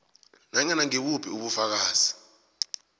nanyana ngibuphi ubufakazi